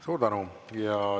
Suur tänu!